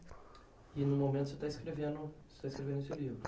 E no momento você está escrevendo você está escrevendo esse livro?